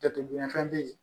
Jateminɛnfɛn bɛ yen